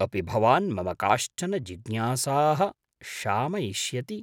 अपि भवान् मम काश्चन जिज्ञासाः शामयिष्यति?